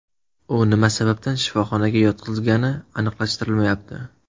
U nima sababdan shifoxonaga yotqizilgani aniqlashtirilmayapti.